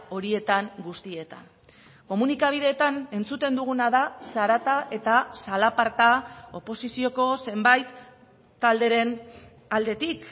horietan guztietan komunikabideetan entzuten duguna da zarata eta zalaparta oposizioko zenbait talderen aldetik